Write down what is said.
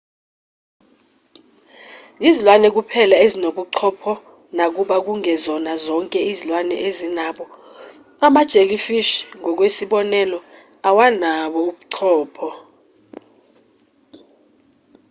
izilwane kuphela ezinobuchopho nakuba kungezona zonke izilwane ezinabo; ama-jellyfish ngokwesibonelo awanabo ubuchopho